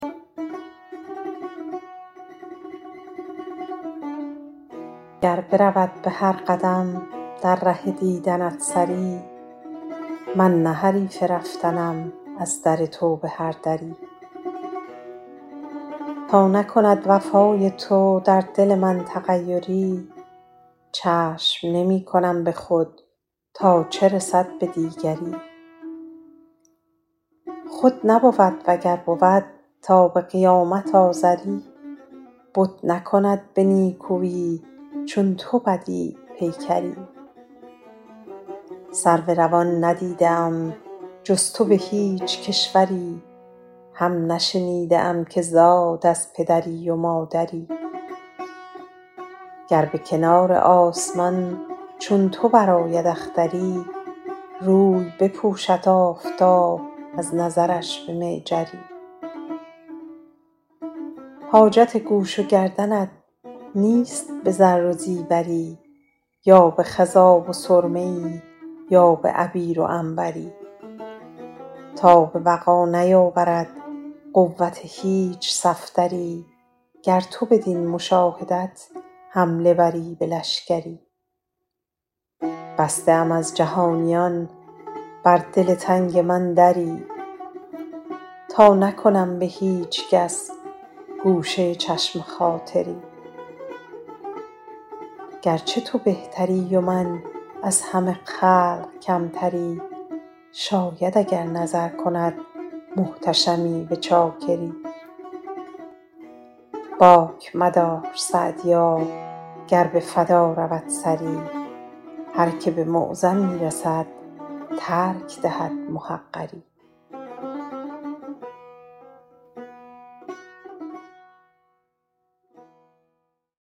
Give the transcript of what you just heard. گر برود به هر قدم در ره دیدنت سری من نه حریف رفتنم از در تو به هر دری تا نکند وفای تو در دل من تغیری چشم نمی کنم به خود تا چه رسد به دیگری خود نبود و گر بود تا به قیامت آزری بت نکند به نیکویی چون تو بدیع پیکری سرو روان ندیده ام جز تو به هیچ کشوری هم نشنیده ام که زاد از پدری و مادری گر به کنار آسمان چون تو برآید اختری روی بپوشد آفتاب از نظرش به معجری حاجت گوش و گردنت نیست به زر و زیوری یا به خضاب و سرمه ای یا به عبیر و عنبری تاب وغا نیاورد قوت هیچ صفدری گر تو بدین مشاهدت حمله بری به لشکری بسته ام از جهانیان بر دل تنگ من دری تا نکنم به هیچ کس گوشه چشم خاطری گرچه تو بهتری و من از همه خلق کمتری شاید اگر نظر کند محتشمی به چاکری باک مدار سعدیا گر به فدا رود سری هر که به معظمی رسد ترک دهد محقری